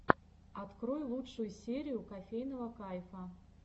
открой лучшую серию кофейного кайфа